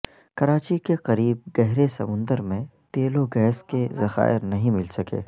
کراچی کے قریب گہرے سمندر میں تیل و گیس کے ذخائر نہیں مل سکے